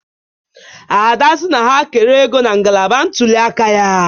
Ada si na ha kere ego na ngalaba ntuli aka ya